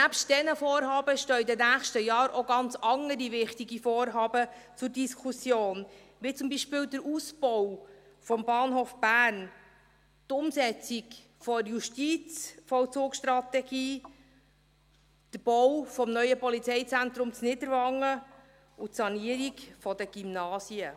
Nebst diesen Vorhaben stehen in den nächsten Jahren jedoch auch ganz andere wichtige Vorhaben zur Diskussion, wie zum Beispiel der Ausbau des Bahnhofs Bern, die Umsetzung der Justizvollzugsstrategie, der Bau des neuen Polizeizentrums in Niederwangen und die Sanierung der Gymnasien.